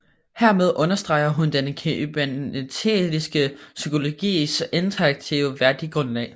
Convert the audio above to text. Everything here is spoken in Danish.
Hermed understreger hun den kybernetiske psykologis integrative værdigrundlag